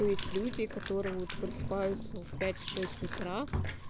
есть люди которые просыпаются в пять шесть утра